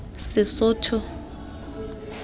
sesotho